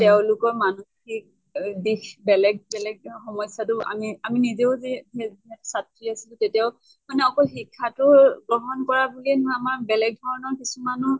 তেওঁলোকৰ মানসিক অ দিশ বেলেগ বেলেগ সমস্য়াতো আমি, আমি নিজেও যি ছাত্ৰী আছিলো তেতিয়াও মানে অকল শিক্ষা টো গ্ৰহন কৰা বুলেয়ে নহয়, আমাৰ বেলেগ ধৰণৰ কিছুমানো